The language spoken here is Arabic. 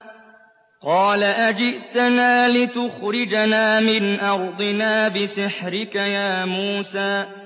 قَالَ أَجِئْتَنَا لِتُخْرِجَنَا مِنْ أَرْضِنَا بِسِحْرِكَ يَا مُوسَىٰ